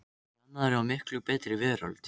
í annarri og miklu betri veröld.